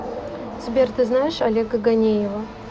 сбер ты знаешь олега ганеева